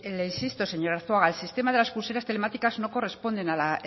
le insisto señor arzuaga el sistema de las pulseras telemáticas no corresponden a la